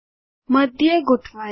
મધ્ય ગોઠવાયેલ